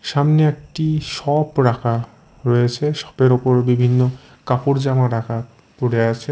সামনে একটি শপ রাখা রয়েছে শপের ওপর বিভিন্ন কাপড় জামা রাখা পরে আছে।